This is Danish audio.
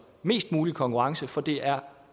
mest mulig konkurrence fordi det er